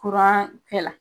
Kuran kɛla.